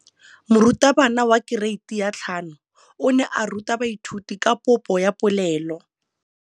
Moratabana wa kereiti ya 5 o ne a ruta baithuti ka popô ya polelô.